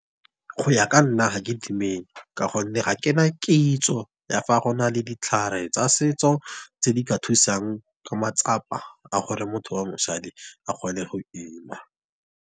Go ya ka nna, ga ke dumele ka gonne ga kena kitso ya fa gona le ditlhare tsa setso tse di ka thusang ka matsapa a gore motho wa mosadi a kgone go ima.